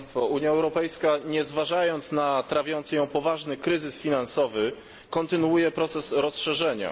Unia Europejska, nie zważając na trawiący ją poważny kryzys finansowy, kontynuuje proces rozszerzenia.